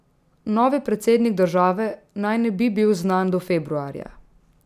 Novi predsednik države naj ne bi bil znan do februarja.